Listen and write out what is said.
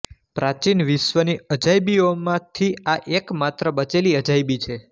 પ્રાચીન વિશ્વની અજાયબીઓમાંથી આ એક માત્ર બચેલી અજાયબી છે